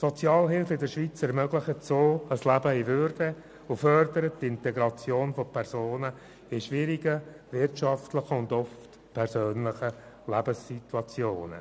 Die Sozialhilfe in der Schweiz ermöglicht so ein Leben in Würde und fördert die Integration von Personen in wirtschaftlich schwierigen und oft schwierigen persönlichen Lebenssituationen.